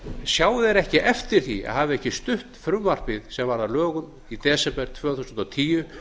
sjá þeir ekki eftir því að hafa ekki stutt frumvarpið sem varð að lögum í desember tvö þúsund og tíu